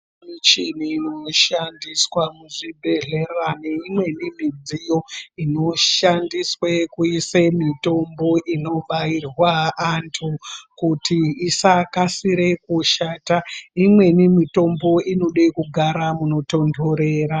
Michini inoshandiswa muzvibhedhlera neimweni midziyo inoshandiswe kuise mitombo inobairwa antu kuti isakasire kushata. Imweni mitombo inode kugara munotonhorera.